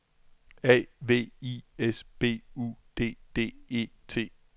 A V I S B U D D E T